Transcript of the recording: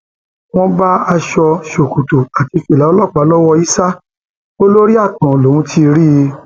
wọn bá aṣọ ṣòkòtò àti fìlà ọlọpàá lọwọ issa o lórí ààtàn lòún ti rí i